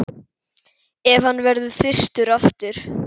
Ef hann verður þyrstur aftur.